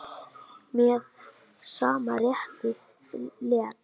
Með sama rétti lét